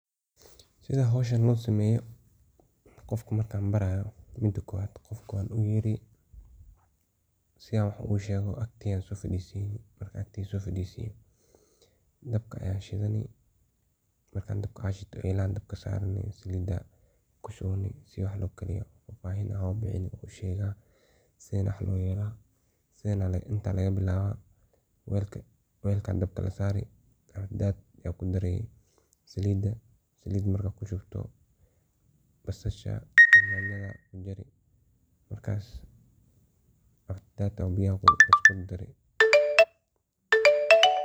Sidaa howshan loo qabta markan qof barayo, qofka wan u yeri agteeyda aan so farisini si an wax ogushego. Dabka ayan shidani, elahan sarani ,salida an kushuwi oo fafahin an sinaya sidha wax lokariyo ,sidan aa wax layela ,inta aa wax laga bilawa ,salida aa kudare iyo yanyada waxas hagajine .